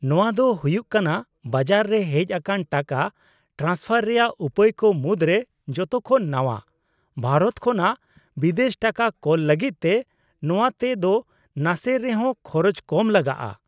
-ᱱᱚᱶᱟ ᱫᱚ ᱦᱩᱭᱩᱜ ᱠᱟᱱᱟ ᱵᱟᱡᱟᱨ ᱨᱮ ᱦᱮᱡ ᱟᱠᱟᱱ ᱴᱟᱠᱟ ᱴᱨᱟᱱᱥᱯᱷᱟᱨ ᱨᱮᱭᱟᱜ ᱩᱯᱟᱹᱭ ᱠᱚ ᱢᱩᱫᱽᱨᱮ ᱡᱚᱛᱚ ᱠᱷᱚᱱ ᱱᱟᱣᱟ, ᱵᱷᱟᱨᱚᱛ ᱠᱷᱚᱱᱟᱜ ᱵᱤᱫᱮᱥ ᱴᱟᱠᱟ ᱠᱳᱞ ᱞᱟᱹᱜᱤᱫ ᱛᱮ ᱱᱚᱣᱟ ᱛᱮ ᱫᱚ ᱱᱟᱥᱮ ᱨᱮᱦᱚᱸ ᱠᱷᱚᱨᱚᱪ ᱠᱚᱢ ᱞᱟᱜᱟᱜᱼᱟ ᱾